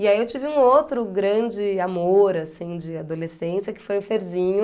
E aí, eu tive um outro grande amor, assim, de adolescência, que foi o Ferzinho.